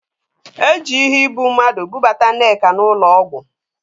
Eji iheibummadụ bubata Nneka n'ụlọ ọgwụ